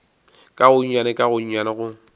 ka gonnyane ka gonnyane go